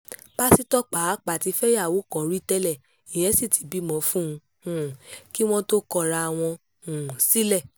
pásítọ̀ pàápàá ti fẹ́yàwó kan rí tẹ́lẹ̀ ìyẹn sì ti bímọ fún un um kí wọ́n tóó kọra wọn um sílẹ̀